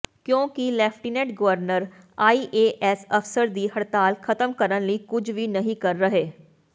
ਕਿਉਂਕਿ lieutenant governor IAS ਅਫਸਰ ਦੀ ਹੜਤਾਲ ਖਤਮ ਕਰਨ ਲਈ ਕੁਝ ਵੀ ਨਹੀਂ ਕਰ ਰਹੇ